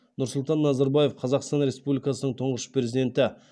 нұрсұлтан назарбаев қазақстан республикасының тұңғыш президенті